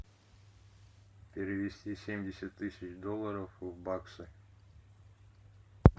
перевести семьдесят тысяч долларов в баксы